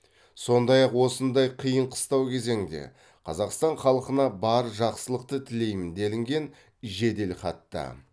сондай ақ осындай қиын қыстау кезеңде қазақстан халқына бар жақсылықты тілеймін делінген жеделхатта